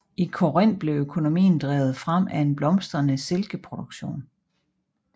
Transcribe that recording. I Korinth blev økonomien drevet frem af en blomstrende silkeproduktion